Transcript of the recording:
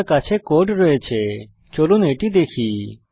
আমার কাছে কোড রয়েছে চলুন এটি দেখি